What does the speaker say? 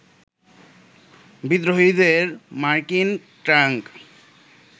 বিদ্রোহীদের মার্কিন ট্যাঙ্ক